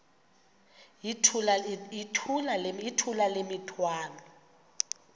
yithula le mithwalo